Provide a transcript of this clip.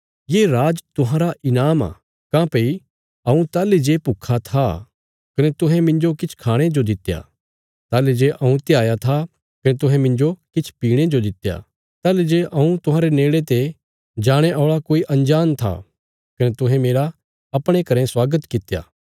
ये राज तुहांरा ईनाम आ काँह्भई हऊँ ताहली जे भुक्खा था कने तुहें मिन्जो किछ खाणे जो दित्या ताहली जे हऊँ त्याह्या था कने तुहें मिन्जो किछ पीणे जो दित्या ताहली जे हऊँ तुहांरे नेड़े ते जाणे औल़ा कोई अंजाण था कने तुहें मेरा अपणे घरें स्वागत कित्या